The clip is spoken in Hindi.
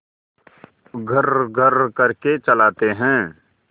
घर्रघर्र करके चलाते हैं